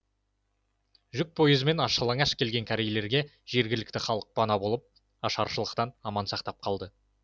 жүк пойызымен аш жалаңаш келген корейлерге жергілікті халық пана болып ашаршылықтан аман сақтап қалды